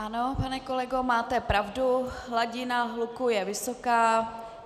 Ano, pane kolego, máte pravdu, hladina hluku je vysoká.